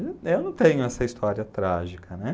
Eu não tenho essa história trágica, né?